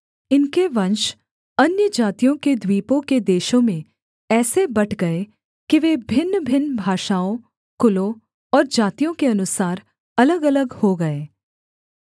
इनके वंश अन्यजातियों के द्वीपों के देशों में ऐसे बँट गए कि वे भिन्नभिन्न भाषाओं कुलों और जातियों के अनुसार अलगअलग हो गए